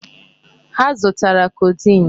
Ha zụtara codeine.